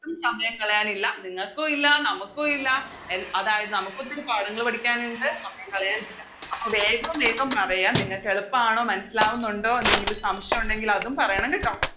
ഒട്ടും സമയം കളയാനില്ല നിങ്ങക്കു ഇല്ല നമക്കു ഇല്ല എൽ അതായത് നമുക്കൊത്തിരി പാഠങ്ങള് പഠിക്കാനിണ്ട് സമയം കളയാനില്ല അപ്പോം വേഗം വേഗം പറയാ നിങ്ങക്കെളുപ്പാണോ മനസ്സിലാവുന്നുണ്ടോ എന്തെങ്കിലും സംശയം ഒണ്ടെങ്കിൽ അതും പറയണം കേട്ടോ